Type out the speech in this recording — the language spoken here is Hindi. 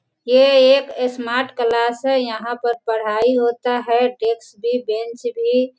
ये एक स्मार्ट क्लास है यहां पर पढ़ाई होता है डेस्क भी बेंच भी --